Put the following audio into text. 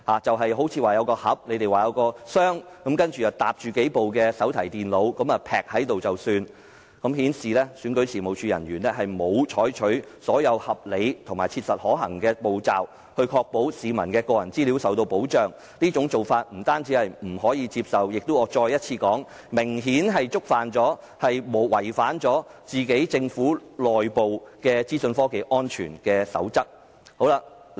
據說當時用了一個箱，把數部手提電腦疊放在一起便了事，顯示選舉事務處人員沒有採取所有合理和切實可行的步驟，確保市民的個人資料受到保障，這種做法不單不可接受，而且要再次說明，已明顯違反了政府的內部資訊科技安全守則。